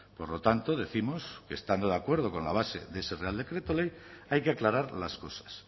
por lo tanto décimos que estando de acuerdo con la base de ese real decreto ley hay que aclarar las cosas